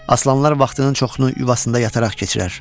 Aslanlar vaxtının çoxunu yuvasında yataraq keçirər.